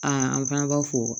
Aa an fana b'a fɔ